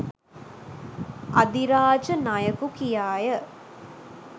අධිරාජ නයකු කියාය